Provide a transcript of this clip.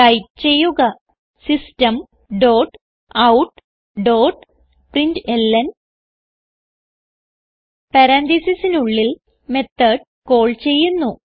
type ചെയ്യുക system dot out dot println പരാൻതീസിസിനുള്ളിൽ method call ചെയ്യുന്നു